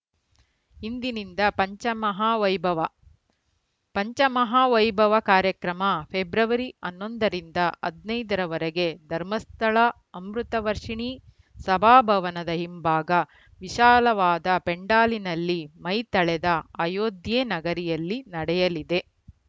ಇಂದಿನಿಂದ ಪಂಚಮಹಾ ವೈಭವ ಪಂಚಮಹಾ ವೈಭವ ಕಾರ್ಯಕ್ರಮ ಫೆಬ್ರವರಿ ಹನ್ನೊಂದ ರಿಂದ ಹದಿನೈದ ರವರೆಗೆ ಧರ್ಮಸ್ಥಳ ಅಮೃತ ವರ್ಷಿಣಿ ಸಭಾಭವನದ ಹಿಂಭಾಗ ವಿಶಾಲವಾದ ಪೆಂಡಾಲಿನಲ್ಲಿ ಮೈತಳೆದ ಅಯೋಧ್ಯೆ ನಗರಿಯಲ್ಲಿ ನಡೆಯಲಿದೆ